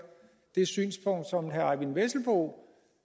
det synspunkt som herre eyvind vesselbo